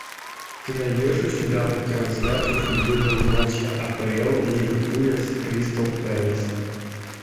ты найдешь у себя трансляцию футбольного матча апл ливерпуля с кристал пэлас